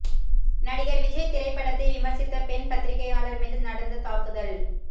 நடிகர் விஜய் திரைப்படத்தை விமர்சித்த பெண் பத்திரிகையாளர் மீது நடந்த தாக்குதல்